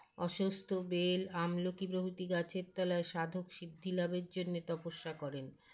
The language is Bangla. অশ্বস্থ বেল আমলকি প্রভৃতি গাছের তলায় সাধক সিদ্ধিলাভের জন্যে তপস্যা করেন